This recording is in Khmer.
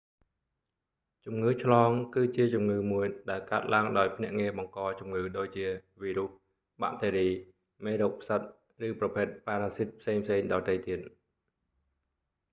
ជំងឺឆ្លង គឺជាជំងឺមួយដែលកើតឡើងដោយភ្នាក់ងារបង្កជំងឺដូចជា វីរុស បាក់តេរី មេរោគផ្សិត ឬប្រភេទប៉ារ៉ាស៊ីតផ្សេងៗដទៃទៀត